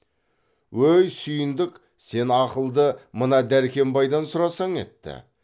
өй сүйіндік сен ақылды мына дәркембайдан сұрасаң етті